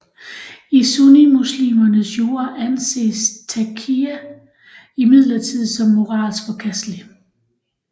I sunnimuslimernes jura anses taqiyya imidlertid som moralsk forkastelig